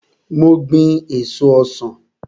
Mo gbin èso ọsan.